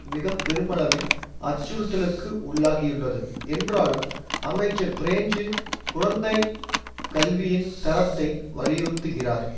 மிக பெருமளவில் அச்சுறுத்தலுக்கு உள்ளாகியுள்ளது என்றாலும் அமைச்சர் பிரெஞ்சு குழந்தைக் கல்வியின் தரத்தை வலியுறுத்துகிறார்